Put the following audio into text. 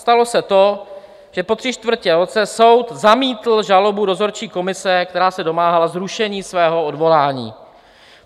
Stalo se to, že po tři čtvrtě roce soud zamítl žalobu dozorčí komise, která se domáhala zrušení svého odvolání.